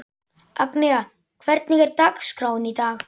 Agnea, hvernig er dagskráin í dag?